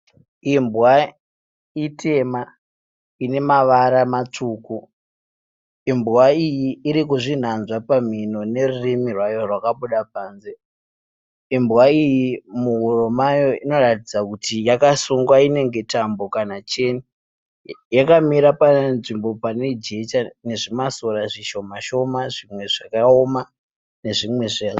Imbwa itema ine mavara matsvuku. Imbwa iyi iri kuzvinanzva pamhino nerurimi rwayo rwakabuda panze. Imbwa iyi muhuro mayo inoratidza kuti yakasungwa inenge tambo kana cheni. Yakamira panzvimbo pane jecha nezvimasora zvishoma shoma zvimwe zvakaoma nezvimwe...